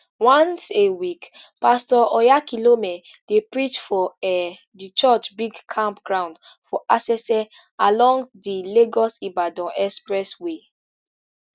once a week pastor oyakhilome dey preach for um di church big camp ground for asese along di lagosibadan expressway